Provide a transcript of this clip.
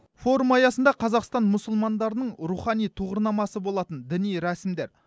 форум аясында қазақстан мұсылмандарының рухани тұғырнамасы болатын діни рәсімдер